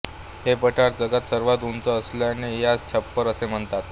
हे पठार जगात सर्वात उंच असल्याने यास छप्पर असे म्हणतात